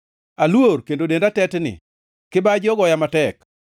Aluor kendo denda tetni; kibaji ogoya matek.